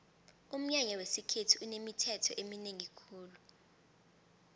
umnyanya wesikhethu unemithetho eminengi khulu